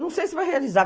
Não sei se vai realizar.